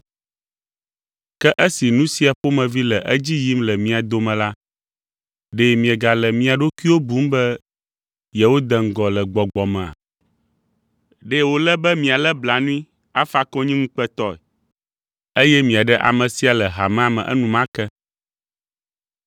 Ke esi nu sia ƒomevi le edzi yim le mia dome la, ɖe miegale mia ɖokuiwo bum be yewode ŋgɔ le gbɔgbɔ mea? Ɖe wòle be mialé blanui afa konyi ŋukpetɔe eye miaɖe ame sia le hamea me enumake!